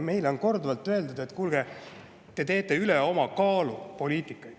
Meile on korduvalt öeldud, et kuulge, te teete poliitikat üle oma kaalu.